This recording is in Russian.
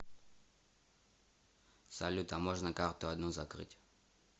салют а можно карту одну закрыть